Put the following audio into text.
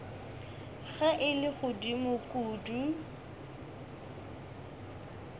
ge e le godimo kudu